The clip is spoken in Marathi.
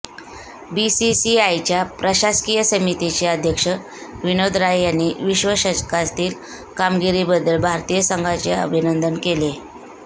बीसीसीआयच्या प्रशासकीय समितीचे अध्यक्ष विनोद राय यांनी विश्वचषकातील कामगिरीबद्दल भारतीय संघाचे अभिनंदन केले